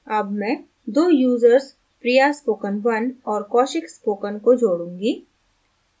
add मैं दो users priyaspoken1 और kaushikspoken को जोड़ूँगी